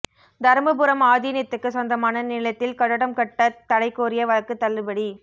தருமபுரம் ஆதீனத்துக்குச் சொந்தமான நிலத்தில் கட்டடம் கட்ட தடை கோரிய வழக்கு தள்ளுபடி